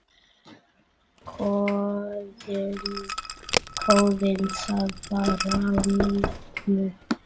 Skoðið það bara á netinu.